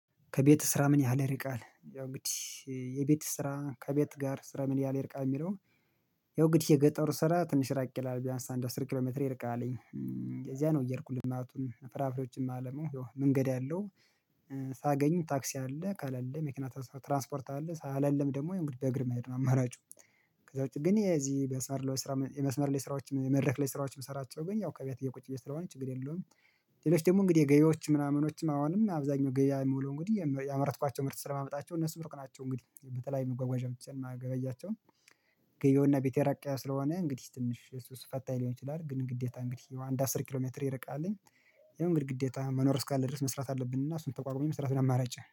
ከቤት ስራ ምን ያህል ይርቃል? ያው እንግዲህ የቤት ስራ ከቤት ጋር ስራ ምን ያህል ይርቃል የሚለው ያው እንግዲህ የገጠሩ ስራ ትንሽ ራቅ ይላል። ቢያንስ አንድ አስር ኪሎ ሜትር ይርቃልኝ። እዚያ ነው እየሄድኩኝ ልማቱን ፍራፍሬዎችን ማለማው፤ ያው መንገድ አለው። ሳገኝም ታክሲ አለ ከሌለ መኪና ትራንስፖርት አለ። ከሌለም ደግሞ የእንግዲህ በእግር መሄድ ነው አማራጩ ከዛ ውጭ ግን የዚህ በመስመር ላይ ስራ የመስመር ላይ ስራዎችን የመድረክ ላይ ስራዎችን ምስራቸው ገና ያው ከቤት እየ ቁጭ ስለሆነ ችግር የለውም። ሌሎች ደግሞ እንግዲህ ገበያዎች ምናምኖችም አሁንም አብዛኛው ገበያ የምውለው እንግዲህ ያመረትኳቸው ምርት ስለማመጣቸው እነሱም እሩቅ ናቸው እንግዲህ በተለያዩ መጓጓዣዎች ማገበያቸውን ገበያውና ቤቴ እራቅ ስለሆነ እንግዲህ ትንሽ እሱ ፈታኝ ሊሆን ይችላል ግን ግዴታ እንግዲህ አንድ አስር ኪሎ ሜትር ይርቃልኝ የሆነ ግድግዴታ መኖር እስካለ ድረስ መስራት አለብን እና እሱን ተቋቁሞ መስራት አማራጭ